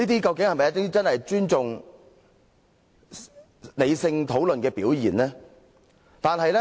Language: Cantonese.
這是否真正尊重理性討論的表現？